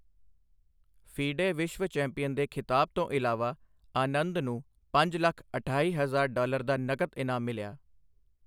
FIDE ਵਿਸ਼ਵ champion ਦੇ ਖ਼ਿਤਾਬ ਤੋਂ ਇਲਾਵਾ, ਆਨੰਦ ਨੂੰ ਪੰਜ ਲੱਖ ਅਠਾਈ ਹਜਾਰ ਡਾਲਰ ਦਾ ਨਕਦ ਇਨਾਮ ਮਿਲਿਆ।